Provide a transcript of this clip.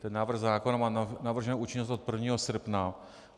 Ten návrh zákona má navrženu účinnost od 1. srpna.